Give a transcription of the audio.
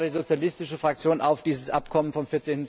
Ich fordere die sozialistische Fraktion auf, dieses Abkommen vom